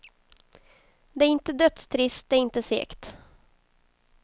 Det är inte dödstrist, det är inte segt.